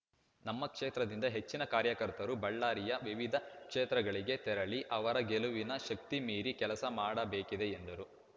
ನಮ್ಮ ಕ್ಷೇತ್ರದಿಂದ ಹೆಚ್ಚಿನ ಕಾರ್ಯಕರ್ತರು ಬಳ್ಳಾರಿಯ ವಿವಿಧ ಕ್ಷೇತ್ರಗಳಿಗೆ ತೆರಳಿ ಅವರ ಗೆಲುವಿಗೆ ಶಕ್ತಿ ಮೀರಿ ಕೆಲಸ ಮಾಡಬೇಕಿದೆ ಎಂದರು